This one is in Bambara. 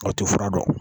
O tɛ fura dɔn